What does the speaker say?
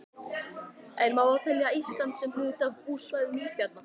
En má þá telja Ísland sem hluta af búsvæðum ísbjarna?